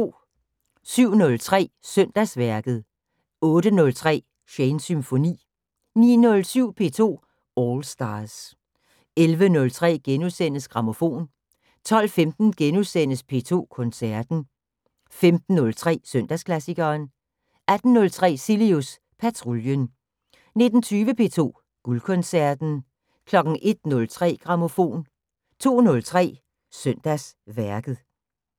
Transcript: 07:03: Søndagsværket 08:03: Shanes Symfoni 09:07: P2 All Stars 11:03: Grammofon * 12:15: P2 Koncerten * 15:03: Søndagsklassikeren 18:03: Cilius Patruljen 19:20: P2 Guldkoncerten 01:03: Grammofon 02:03: Søndagsværket